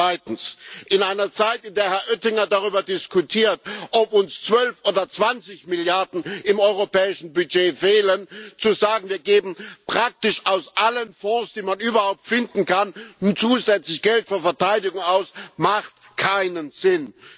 Zweitens In einer Zeit, in der Herr Oettinger darüber diskutiert, ob uns zwölf oder 20 Milliarden im europäischen Budget fehlen, zu sagen, wir geben praktisch aus allen Fonds, die man überhaupt finden kann, nun zusätzlich Geld für Verteidigung aus, macht keinen Sinn!